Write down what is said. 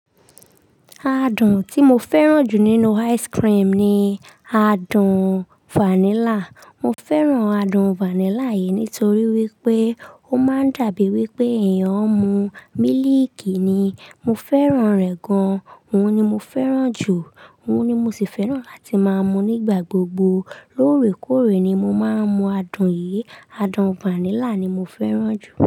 Adun tí mo fẹ́ràn jù nínú ice cream ni adun vanilla. Mo fẹ́ràn adun vanilla yìí nítorí wípé ó máa ń dàbíbí wípé èèyàn ń mu mílíìkì ni. Mo fẹ́ràn rẹ̀ gan-an, òun ni mo fẹ́ràn jù, òun ni mo sì fẹ́ràn láti máa mù nígbà gbogbo. Lóòrèkóòrè ni mo máa ń mu adun yìí. Adun vanilla ni mo fẹ́ràn jù.